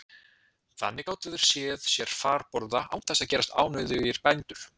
Þannig gátu þeir séð sér farborða án þess að gerast ánauðugir bændur.